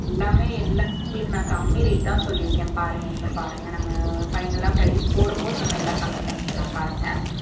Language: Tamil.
எல்லாமே எல்லாமே உங்களுக்கு நான் கம்மி rate தான் சொல்லி இருக்கேன் பாருங்க இன்னும் பாருங்க நம்ம final ஆ price போடும் போது நம்ம எல்லாம் கம்மி பண்ணிக்கலாம் பாருங்க